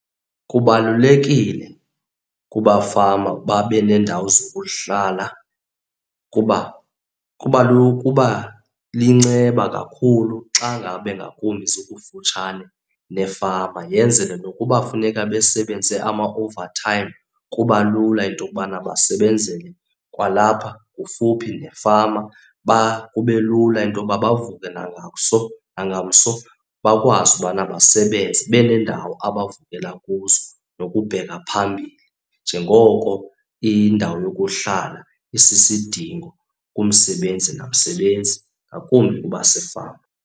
Kubalulekile kubafama babe nendawo zokuhlala kuba kuba liyinceba kakhulu xa ngabe ngakumbi zikufutshane nefama. Yenzele nokuba kufuneka besebenze ama-overtime, kuba lula into yokubana basebenzele kwalapha kufuphi nefama. Kube lula into yoba bavuke nangamso, nangamso bakwazi ubana basebenze benendawo abavukela kuzo nokubheka phambili njengoko indawo yokuhlala asisidingo kumsebenzi namsebenzi, ngakumbi kubasefama.